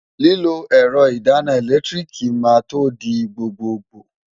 Lílo ẹ̀rọ ìdáná ẹ̀lẹ́tíríìkì máa to di gbgbogbò.